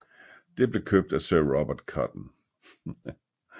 Det blev købt af sir Robert Cotton